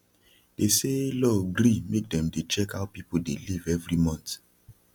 they say law gree make dem dey check how people dey live every month